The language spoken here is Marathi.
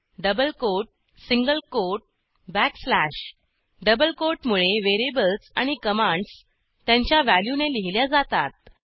double quote single quote backslash double quote मुळे व्हेरिएबल्स आणि कमांडस त्यांच्या व्हॅल्यूने लिहिल्या जातात